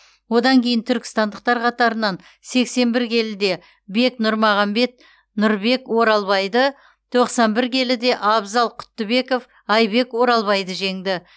одан кейін түркістандықтар қатарынан сексен бір келіде бек нұрмағанбет нұрбек оралбайды тоқсан бір келіде абзал құттыбеков айбек оралбайды жеңді